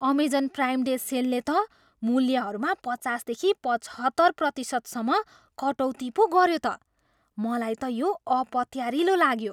Amazon prime day सेलले त मूल्यहरूमा पचासदेखि पचहत्तर प्रतिशतसम्म कटौती पो गऱ्यो त! मलाई त यो अपत्यारिलो लाग्यो।